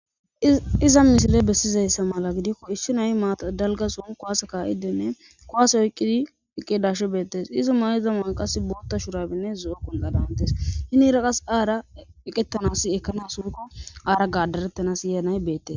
Iza misile bessizayssa mala gidikko issi nayi maaa dalgasun kuwaase ka'idenne kowaase oyqqidi iqedashi beettes izo may'iza man qas bootta shurabinne zo'o qonqadantes hinira qas aara eqettanas ekkanas hoykko aara gaadarettanas yeenay beette.